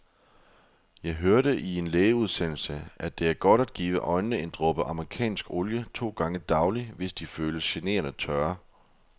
Jeg hørte i en lægeudsendelse, at det er godt at give øjnene en dråbe amerikansk olie to gange daglig, hvis de føles generende tørre.